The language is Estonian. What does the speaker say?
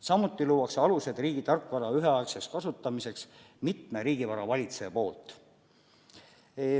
Samuti luuakse alused, et riigi tarkvara saaksid üheaegselt kasutada mitu riigivara valitsejat.